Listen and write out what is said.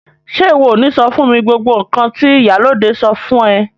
Ṣe iwọ o ni sọ fún mi gbogbo nkan ti ìyálóde sọ fún ẹ?